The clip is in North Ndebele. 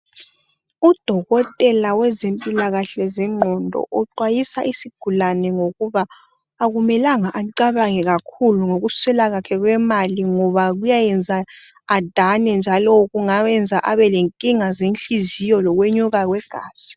udokotela wezempilakahle zenqondo uxwayisa isigulane ngokuba akumelanga acabange kakhulu ngokuswela kwakhe kwemali ngoba kuyayenza adane njalo kungayenza abelenkinga zenhliziyo lokunyuka kwegazi